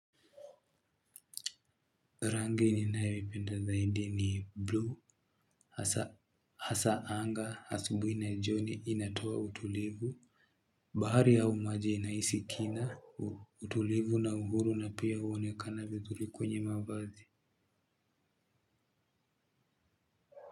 Rangi ninayoipenda zaidi ni bluu hasa anga asubuhi na jioni inatoa utulivu bahari au maji inahisi kina utulivu na uhuru na pia huonekana vizuri kwenye mavazi.